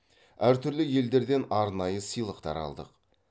әр түрлі елдерден арнайы сыйлықтар алдық